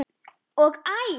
og Æ!